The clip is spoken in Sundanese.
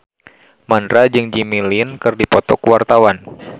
Mandra jeung Jimmy Lin keur dipoto ku wartawan